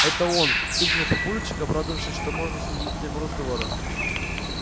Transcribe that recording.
это он вскрикнул папульчик обрадовавшись что можно сменить тему разговора